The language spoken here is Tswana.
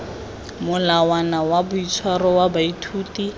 molawana wa boitshwaro wa baithuti